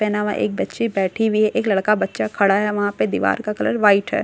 पेहनावा एक बच्ची बैठी हुई हैं एक लडका बच्चा खडा हैं वहा पे दिवार ' का कलर व्हाइट हैं --